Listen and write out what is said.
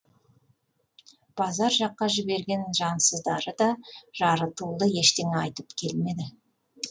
базар жаққа жіберген жансыздары да жарытулы ештеңе айтып келмеді